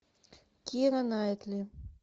кира найтли